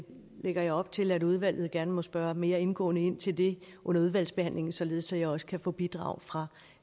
lægger jeg op til at udvalget gerne må spørge mere indgående ind til det under udvalgsbehandlingen således at jeg også kan få bidrag fra